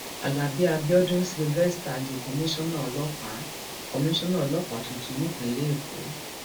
alábí abiodun cs] sylvester di komisanna ọlọpàá komisanna ọlọpàá tuntun nípìnlẹ èkó